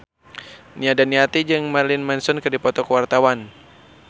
Nia Daniati jeung Marilyn Manson keur dipoto ku wartawan